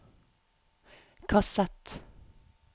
kassett